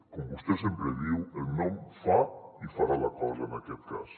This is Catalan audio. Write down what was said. com vostè sempre diu el nom fa i farà la cosa en aquest cas